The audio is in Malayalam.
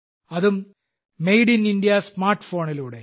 അതും മേഡ് ഇൻ ഇന്ത്യ സ്മാർട്ട് ഫോണിലൂടെ